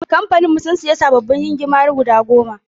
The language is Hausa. Kamfanin mu sun siya sababbin gingimari guda goma/